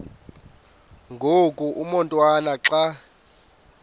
ngoku umotwana xa